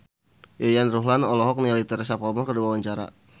Yayan Ruhlan olohok ningali Teresa Palmer keur diwawancara